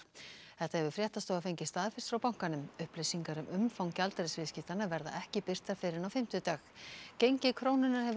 þetta hefur fréttastofa fengið staðfest frá bankanum upplýsingar um umfang gjaldeyrisviðskiptanna verða ekki birtar fyrr en á fimmtudag gengi krónunnar hefur